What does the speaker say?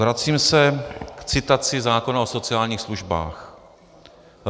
Vracím se k citaci zákona o sociálních službách.